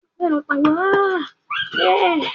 Bẹ́ẹ̀ni, mo ti ń lọ sí ọ́fíìsì.